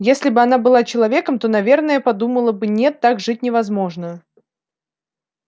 если бы она была человеком то наверное подумала бы нет так жить невозможно